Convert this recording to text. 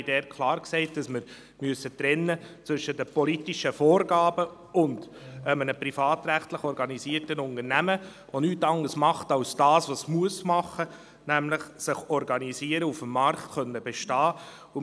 Wir haben dort klar gesagt, dass wir trennen müssen zwischen den politischen Vorgaben und einem privatrechtlich organisierten Unternehmen, das nichts anderes tut als das, was es tun muss, nämlich sich organisieren, um auf dem Markt bestehen zu können.